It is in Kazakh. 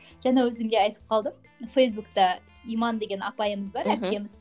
жаңа өзің де айтып қалдың фейсбукте иман деген апайымыз бар әпкеміз